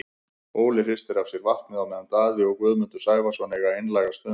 Óli hristir af sér vatnið á meðan Daði og Guðmundur Sævarsson eiga einlæga stund.